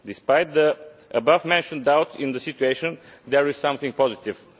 Despite the abovementioned doubts in the situation, there is something positive.